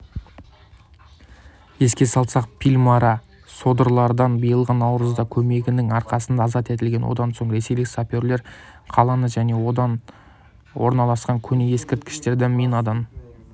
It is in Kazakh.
еске салсақ пальмира содырлардан биылғы наурызда көмегінің арқасында азат етілген одан соң ресейлік саперлер қаланы және онда орналасқан көне ескерткіштерді минадан